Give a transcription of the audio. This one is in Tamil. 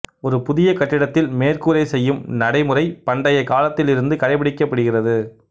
ஒரு புதிய கட்டிடத்தில் மேற்கூரை செய்யும் நடைமுறை பண்டைய காலத்தில் இருந்து கடைபிடிக்கப்படுகிறது